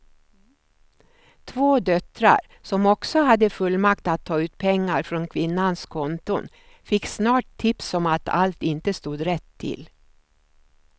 Två döttrar som också hade fullmakt att ta ut pengar från kvinnans konton fick snart tips om att allt inte stod rätt till.